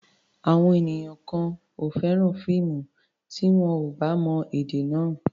Àwọn ènìyàn kan ò fẹ́ràn fíìmù tí wọn ò bá mọ èdè náà.